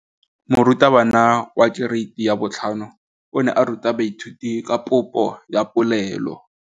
Moratabana wa kereiti ya 5 o ne a ruta baithuti ka popô ya polelô.